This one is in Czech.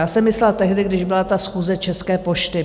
Já jsem myslela tehdy, když byla ta schůze České pošty.